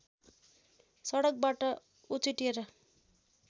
सडकबाट उछिट्टिएर